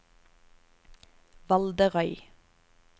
Valderøy